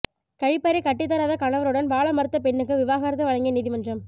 கழிப்பறை கட்டித்தராத கணவருடன் வாழ மறுத்த பெண்ணுக்கு விவாகரத்து வழங்கிய நீதிமன்றம்